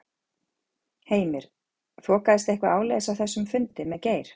Heimir: Þokaðist eitthvað áleiðis á þessum fundi með Geir?